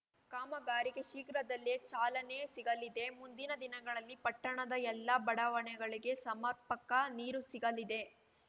ಕಾಮಗಾರಿಗೆ ಶೀಘ್ರದಲ್ಲೇ ಚಾಲನೆ ಸಿಗಲಿದೆ ಮುಂದಿನ ದಿನಗಳಲ್ಲಿ ಪಟ್ಟಣದ ಎಲ್ಲ ಬಡಾವಣೆಗಳಿಗೆ ಸಮರ್ಪಕ ನೀರು ಸಿಗಲಿದೆ